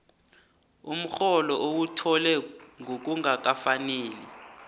umrholo owuthole ngokungakafaneli